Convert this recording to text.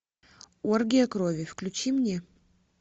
оргия крови включи мне